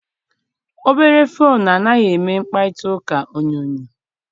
Obere foonu anaghị eme mkparịtaụka onyonyo.